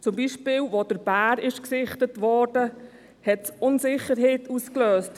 Als beispielsweise der Bär gesichtet wurde, hat das bei Wanderern und Bikern Unsicherheit ausgelöst.